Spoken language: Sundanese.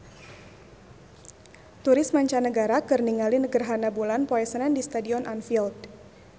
Turis mancanagara keur ningali gerhana bulan poe Senen di Stadion Anfield